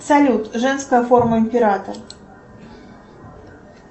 салют женская форма императора